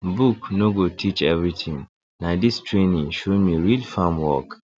book no go teach everything na this training show me real farm work